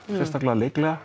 sérstaklega